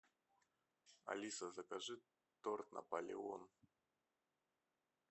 алиса закажи торт наполеон